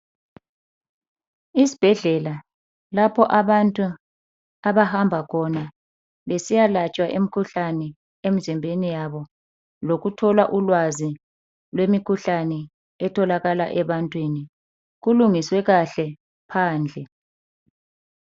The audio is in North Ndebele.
Isibhedlela lapho abantu abahamba khona besiyalatshwa imkhuhlane emzimbeni yabo lokuthola ulwazi lwemkhuhlane etholakala ebantwini kulungiswe kahle phandle.